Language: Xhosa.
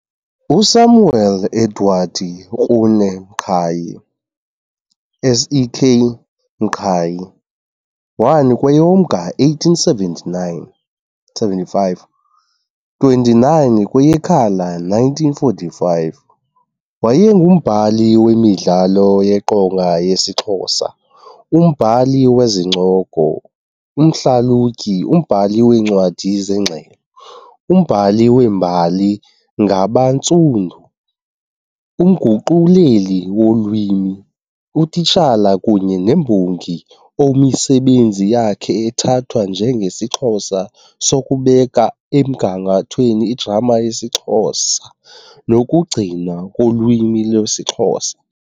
USamuel Edward Krune Mqhayi SEK Mqhayi, 1 kweyoMnga 1875 - 29 kweyeKhala 1945 wayengumbhali wemidlalo yeqonga yesiXhosa, umbhali wezincoko, umhlalutyi, umbhali weencwadi zengxelo, umbhali wembali ngabaNtsundu, umguquleli wolwimi, utitshala kunye nembongi omisebenzi yakhe ethathwa njengesiXhobo sokubeka emgangathweni igrama yesiXhosa nokugcinwa kolwimi lwesiXhosa.